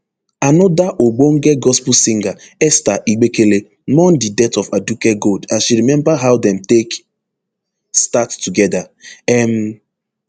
anoda ogbonge gospel singer esther igbekele mourn di death of aduke gold as she remember how dem take start togeda um